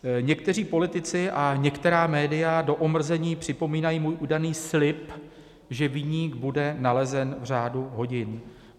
Někteří politici a některá média do omrzení připomínají můj údajný slib, že viník bude nalezen v řádu hodin.